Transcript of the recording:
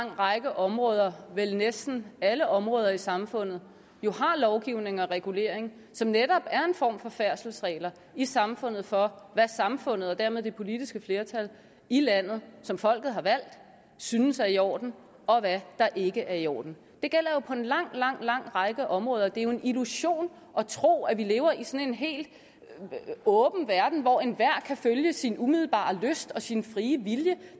lang række områder vel næsten alle områder i samfundet har lovgivning og regulering som netop er en form for færdselsregler i samfundet for hvad samfundet og dermed det politiske flertal i landet som folket har valgt synes er i orden og hvad der ikke er i orden det gælder jo på en lang lang lang række områder det er jo en illusion at tro at vi lever i sådan en helt åben verden hvor enhver kan følge sin umiddelbare lyst og sin frie vilje